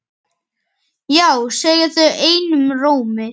Já segja þau einum rómi.